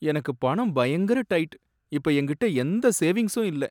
எனக்கு பணம் பயங்கர டைட், இப்ப என்கிட்ட எந்த சேவிங்ஸும் இல்ல.